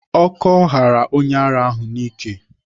Ọkọ ghara onye ara ahụ n'ike.